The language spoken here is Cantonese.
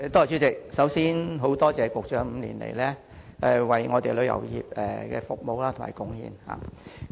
主席，首先感謝局長5年來為香港旅遊業作出的服務和貢獻。